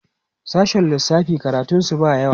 sashen lissafi karatun su ba yawa